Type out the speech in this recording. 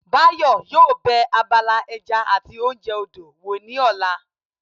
Báyọ̀ yóò bẹ abala ẹja àti oúnjẹ odò wò ní ọ̀la